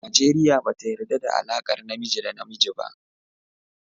Najeriya bata yarɗa da alaƙar namiji da namiji ba.